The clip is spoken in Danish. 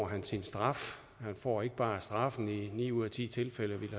han sin straf han får ikke bare straffen men i ni ud af ti tilfælde vil